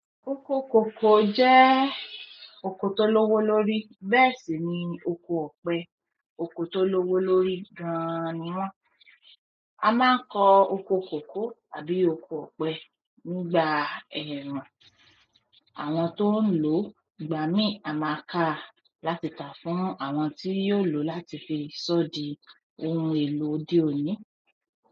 Oko kòkó jẹ́ oko tó lówó lórí, bẹ́ẹ̀ sì ni oko ọ̀pẹ. Oko tó lówó lórí gan-an ni wọ́n. A máa ń kọ oko kòkó tàbí oko ọ̀pẹ nígbà ẹ̀rùn. Àwọn tó ń lò gbàmí àmàkà láti ta fún àwọn tí yóò lò láti fi ṣọ́ di ohun èlò òde òní.